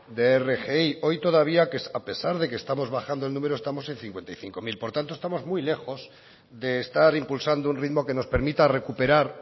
de rgi hoy todavía a pesar de que estamos bajando en número estamos en cincuenta y cinco mil por tanto estamos muy lejos de estar impulsando un ritmo que nos permita recuperar